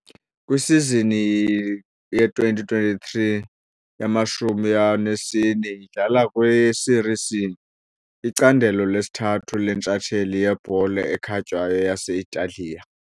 Kwisizini ye2023 ye24 idlala kwiSerie C, icandelo lesithathu lentshatsheli yebhola ekhatywayo yase-Italiya.